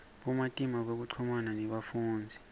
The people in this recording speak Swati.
bumatima bekuchumana nebafundzisi